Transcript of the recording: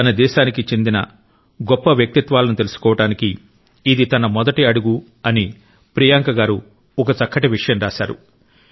తన దేశనికి చెందిన గొప్ప వ్యక్తిత్వాలను తెలుసుకోవటానికి ఇది తన మొదటి అడుగు అని ప్రియాంక గారు ఒక చక్కటి విషయం రాశారు